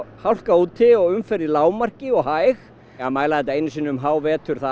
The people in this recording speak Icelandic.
hálka úti og umferð í lágmarki og hæg að mæla þetta einu sinni um hávetur